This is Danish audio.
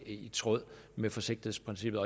i tråd med forsigtighedsprincippet